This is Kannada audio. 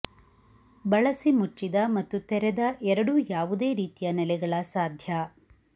ಬಳಸಿ ಮುಚ್ಚಿದ ಮತ್ತು ತೆರೆದ ಎರಡೂ ಯಾವುದೇ ರೀತಿಯ ನೆಲೆಗಳ ಸಾಧ್ಯ